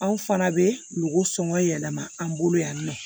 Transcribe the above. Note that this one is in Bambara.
Anw fana bɛ golo sɔngɔ yɛlɛma an bolo yan nɔ